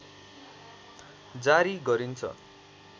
जारी गरिन्छ